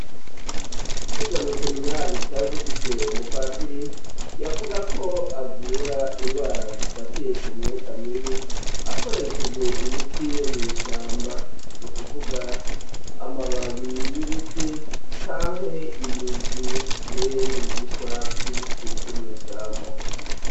Twiga mw'i seminari twari dufise umupatiri yavuga ko avura indwara zifatiye ku myoka mibi akoresheje imiti yo mw'ishamba ni ukuvuga amababiri y'ibiti canke imizi mbere n'ibishishwa vy'ibiti vyo mw'ishamba.